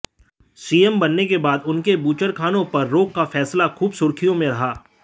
CM बनने के बाद उनके बूचड़खानों पर रोक का फैसला खूब सुर्खियां में रहा